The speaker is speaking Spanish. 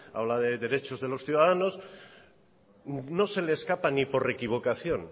habla de derechos de los ciudadanos no se le escapa ni por equivocación